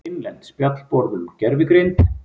Innlent spjallborð um gervigreind.